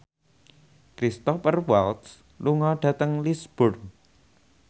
Cristhoper Waltz lunga dhateng Lisburn